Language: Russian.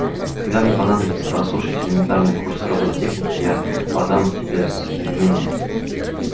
когда мне понадобится прослушать элементарный курс роботехники я подам тебе заявление